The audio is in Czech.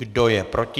Kdo je proti?